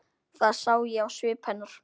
Það sá ég á svip hennar.